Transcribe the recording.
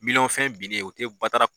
Miliyɔn fɛn binnen o tɛ batara